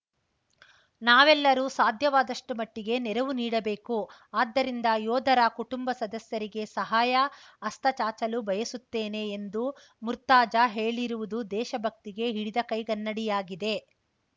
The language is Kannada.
ನಾವೆಲ್ಲರೂ ಸಾಧ್ಯವಾದಷ್ಟು ಮಟ್ಟಿಗೆ ನೆರವು ನೀಡಬೇಕು ಆದ್ದರಿಂದ ಯೋಧರ ಕುಟುಂಬ ಸದಸ್ಯರಿಗೆ ಸಹಾಯ ಹಸ್ತ ಚಾಚಲು ಬಯಸುತ್ತೇನೆ ಎಂದು ಮುರ್ತಾಜಾ ಹೇಳಿರುವುದು ದೇಶ ಭಕ್ತಿಗೆ ಹಿಡಿದ ಕೈಗನ್ನಡಿಯಾಗಿದೆ